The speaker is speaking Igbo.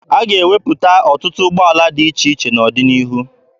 A ga-ewepụta ọtụtụ ụgbọala dị iche iche n'ọdịnihu.